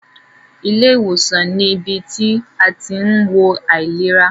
Ilé ìwòsàn ní ibi tí a tí ń wo àìlera.